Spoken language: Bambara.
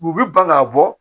U bɛ ban k'a bɔ